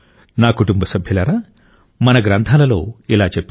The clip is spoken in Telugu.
నా కుటుంబ సభ్యులారా మన గ్రంథాలలో ఇలా చెప్పారు